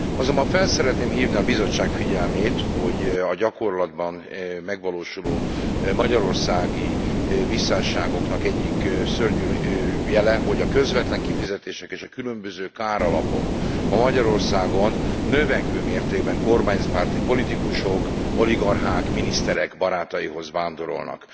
Azonban fel szeretném hívni a Bizottság figyelmét, hogy a gyakorlatban megvalósuló magyarországi visszásságoknak egyik szörnyű jele, hogy a közvetlen kifizetések és a különböző káralapok ma Magyarországon növekvő mértékben kormánypárti politikusok, oligarchák, miniszterek barátaihoz vándorolnak.